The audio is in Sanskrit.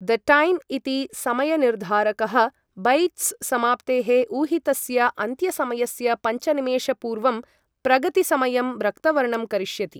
द टैम् इति समयनिर्धारकः बैच्स् समाप्तेः ऊहितस्य अन्त्यसमयस्य पञ्चनिमेषपूर्वं प्रगतिसमयं रक्तवर्णं करिष्यति।